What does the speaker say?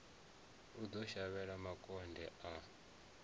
o ḓo shavhela makonde a